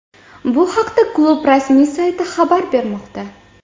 Bu haqda klub rasmiy sayti xabar bermoqda .